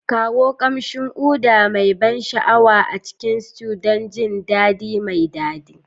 Kawo ƙamshin Uda mai ban sha'awa a cikin stews don jin daɗi mai daɗi.